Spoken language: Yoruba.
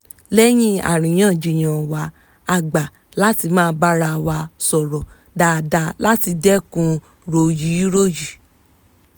lẹ́yìn àríyànjiyàn wa a gba láti máa bá ara wa sọ̀rọ̀ dáadáa láti dẹ́kun ròyíròyí